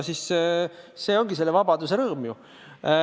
Seegi on selle vabaduse rõõm.